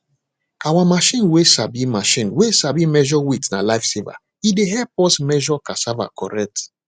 our machine way sabi machine way sabi measure weight na lifesaver e dey help us measure cassava correct